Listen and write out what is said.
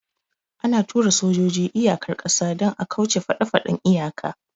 Ana tura sojoji iyakar ƙasa don a kauce faɗefaɗen iyaka